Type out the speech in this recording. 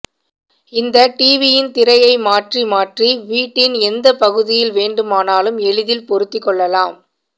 இந்த டிவியின் திரையை மாற்றி மாற்றி வீட்டின் எந்த பகுதியில் வேண்டுமானாலும் எளிதில் பொருத்தி கொள்ளலாம்